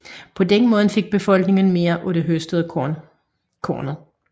På den måde fik befolkningen mere af det høstede korn